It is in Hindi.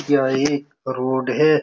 यह एक रोड है ।